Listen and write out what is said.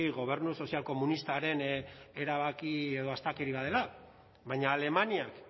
gobernu sozial komunistaren erabaki edo astakeria bat dela baina alemaniak